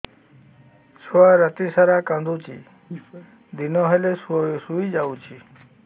ଛୁଆ ରାତି ସାରା କାନ୍ଦୁଚି ଦିନ ହେଲେ ଶୁଇଯାଉଛି